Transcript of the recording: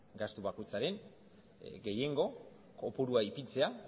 gastu bakoitzaren gehiengo kopurua ipintzea